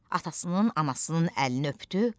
Atasının, anasının əlini öpdü,